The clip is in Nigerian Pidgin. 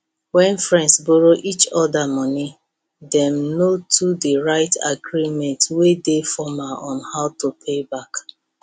when friends borrow each other money dem no too dey write agreement wey dey formal on how to pay back